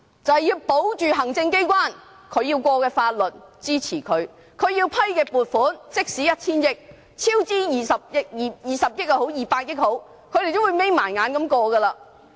便是保着行政機關要通過的法律、予以支持；政府要批出的撥款，即使是 1,000 億元，不管是超支20億元或200億元，他們也會閉着眼睛通過。